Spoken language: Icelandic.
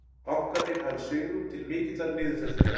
Bankarnir hafi svigrúm til mikillar niðurfellingar